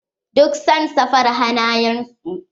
Duk san saffar hanayen su.